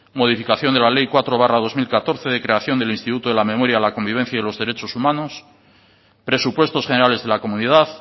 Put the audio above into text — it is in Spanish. modificación de la ley cuatro barra dos mil catorce de creación del instituto de la memoria la convivencia y los derechos humanos presupuestos generales de la comunidad